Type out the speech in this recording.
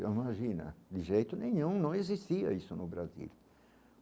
Imagina, de jeito nenhum, não existia isso no Brasil.